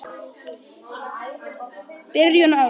Byrjun árs.